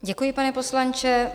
Děkuji, pane poslanče.